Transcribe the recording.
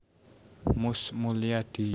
Mus Mulyadi